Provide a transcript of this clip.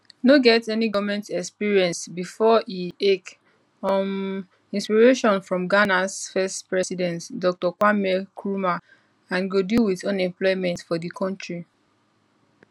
no get any goment experience bifor e ake um inspiration from ghanas first president dr kwame nkrumah and go deal wit unemployment for di kontri